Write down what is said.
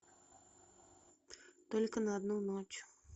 только на одну ночь